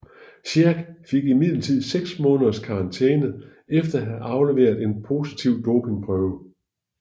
Sherk fik imidlertid 6 måneders karantæne efter at have afleveret en positiv dopingprøve